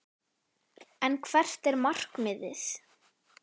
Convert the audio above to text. En hvert er markmiðið?